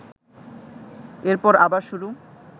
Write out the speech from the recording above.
এরপর আবার শুরু